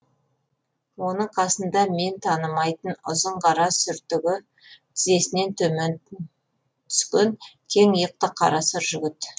оның қасында мен танымайтын ұзын қара сүртігі тізесінен төмен түскен кең иықты қара сұр жігіт